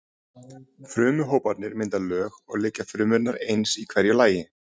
Frumuhóparnir mynda lög og liggja frumurnar eins í hverju lagi.